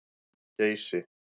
Geysi